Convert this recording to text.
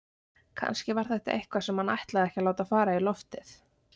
Kannski var þetta eitthvað sem hann ætlaði ekki að láta fara í loftið.